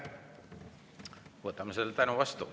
Võtame selle tänu vastu.